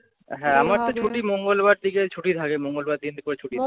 হ্যাঁ আমার তো ছুটি মঙ্গলবার থেকে ছুটি থাকে। মঙ্গলবার দিন করে ছুটি থাকে